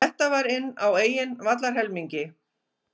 Þetta var inn á eigin vallarhelmingi.